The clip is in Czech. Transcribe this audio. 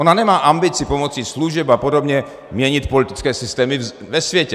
Ona nemá ambici pomocí služeb a podobně měnit politické systémy ve světě.